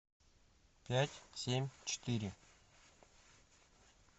пять семь четыре